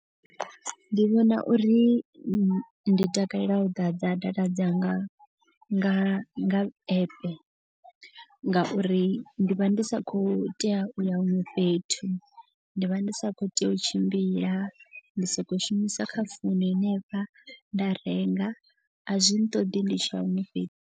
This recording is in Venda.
Ndi vhona uri ndi takalela u ḓadza data dzanga nga nga app. Ngauri ndi vha ndi sa khou u tea u ya huṅwe fhethu ndi vha ndi sa khou tea u tshimbila. Ndi so ko u shumisa kha founu henefha nda renga a zwi ṱoḓi ndi tshia huṅwe fhethu.